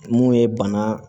Mun ye bana